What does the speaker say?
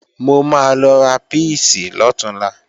Mo máa lọ ra píìsì lọ̀túnla